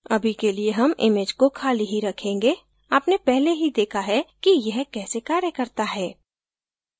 अभी के लिए हम image को खाली ही रखेंगे आपने पहले ही देखा है कि यह कैसे कार्य करता है